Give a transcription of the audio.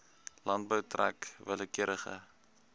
landbou trek willekeurige